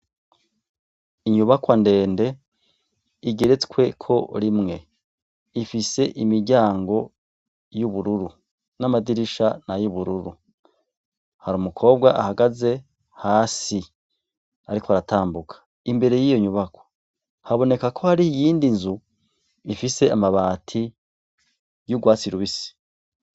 Inyubakwa ndende igeretsweko rimwe. Ifise imiryango y'ubururu, n'amadirisha ni ay'ubururu. Hari umukobwa ahagaze hasi, ariko aratambuka. Imbere y'iyo nyubaka, haboneka ko hari iyindi nzu ifise amabati y'ubwatsi rubisi.